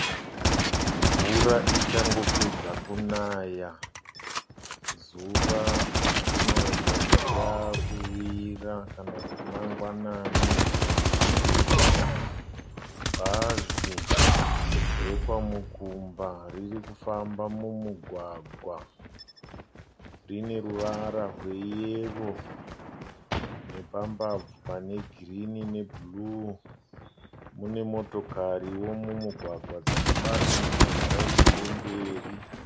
Mvura ichangopedza kunaya . Zuva rinoratidza kuti rakuvira kana kuti mangwanani . Bhazi rekwa Mukumba riri kufamba mumugwagwa . Rine ruvara rweyero nepambabvu pane girini nebhuruu. Mune motokariwo mumugwagwa dzakabatidza maraiti emberi.